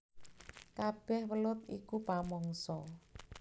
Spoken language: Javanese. Kabèh welut iku pamangsa